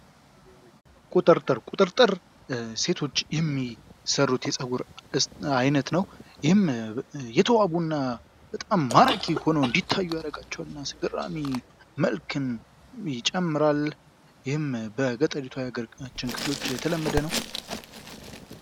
ቁጥርጥር፦ ቁጥርጥር ሴቶች የሚሰሩት የጸጉር አይነት ነው። ይህም የተዋቡ እና በጣም ማራኪ ሁነው እንዲታዩ ያደርጋቸዋል። እና አስገራሚው መልክም ይጨምራል። ይህም በገጠሪቷ የሀገራችን ክፍሎች የተለመደ ነው።